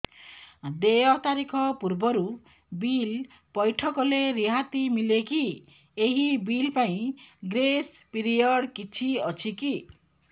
ଦେୟ ତାରିଖ ପୂର୍ବରୁ ବିଲ୍ ପୈଠ କଲେ ରିହାତି ମିଲେକି ଏହି ବିଲ୍ ପାଇଁ ଗ୍ରେସ୍ ପିରିୟଡ଼ କିଛି ଅଛିକି